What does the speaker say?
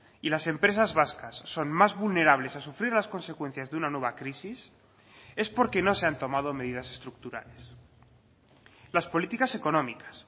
y las empresas vascas son más vulnerables a sufrir las consecuencias de una nueva crisis es porque no se han tomado medidas estructurales las políticas económicas